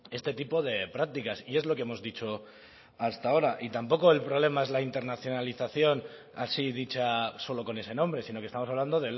este tipo de prácticas y es lo que hemos dicho hasta ahora tampoco el problema es la internacionalización así dicha solo con ese nombre sino que estamos hablando